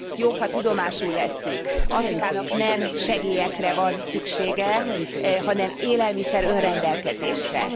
Jobb, ha tudomásul vesszük, Afrikának nem segélyekre van szüksége, hanem élelmiszer önrendelkezésre.